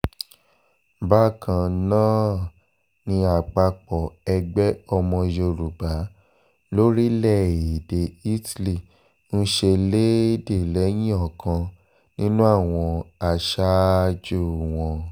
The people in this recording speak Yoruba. bákan náà ni àpapọ̀ ẹgbẹ́ ọmọ yorùbá lórílẹ̀‐èdè italy ń ṣẹlẹ́ẹ̀dẹ̀ lẹ́yìn ọ̀kan nínú àwọn aṣáájú wọn